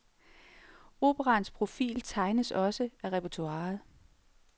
Operaens profil tegnes også af repertoiret.